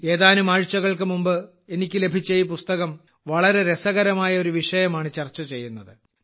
ഏതാനും ആഴ്ചകൾക്ക് മുമ്പ് എനിക്ക് ലഭിച്ച ഈ പുസ്തകം വളരെ രസകരമായ ഒരു വിഷയമാണ് ചർച്ച ചെയ്യുന്നത്